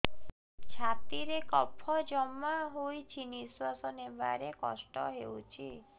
ଛାତିରେ କଫ ଜମା ହୋଇଛି ନିଶ୍ୱାସ ନେବାରେ କଷ୍ଟ ହେଉଛି